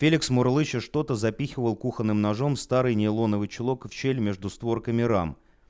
феликс мурлыча что-то запихивал кухонным ножом старый нейлоновый чулок в щель между створками рам